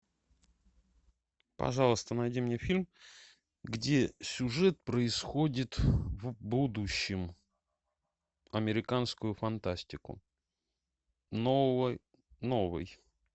пожалуйста найди мне фильм где сюжет происходит в будущем американскую фантастику новый